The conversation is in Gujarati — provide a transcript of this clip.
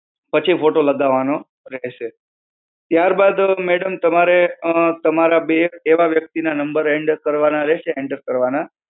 પછી photo લગાવાનો રહેશે. ત્યારબાદ madam તમારે અ તમારા બે એવા વ્યક્તિના number and કરવાના રહેશે, enter કરવાના.